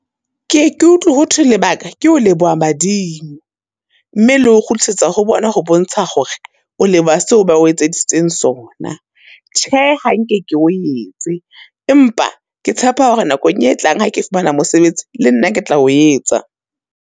Ke ye ke utlwi hothwe lebaka ke o leboha badimo, mme le ho kgutlisetsa ho bona ho bontsha hore o leboha seo ba o etseditseng sona. Tjhe ha nke ke o etse, empa ke tshepa hore nakong e tlang ha ke fumana mosebetsi, le nna ke tla o etsa.